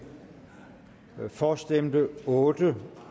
for stemte otte